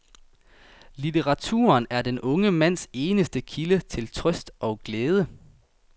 Litteraturen er den unge mands eneste kilde til trøst og glæde.